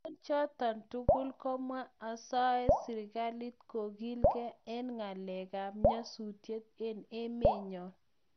eng choto tugul kamwaa asae serikalit kogilgei eng ngalekab nyasusiet eng emenyo